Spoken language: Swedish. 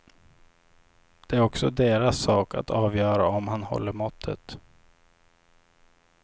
Det är också deras sak att avgöra om han håller måttet.